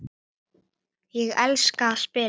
Ég elska að spila.